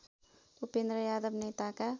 उपेन्द्र यादव नेताका